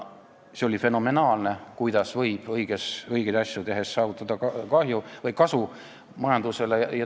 See on fenomenaalne, kuidas võib õigeid asju tehes saavutada kasu majandusele.